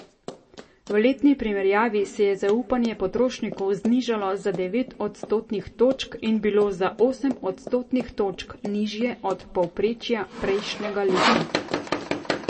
V letni primerjavi se je zaupanje potrošnikov znižalo za devet odstotnih točk in bilo za osem odstotnih točk nižje od povprečja prejšnjega leta.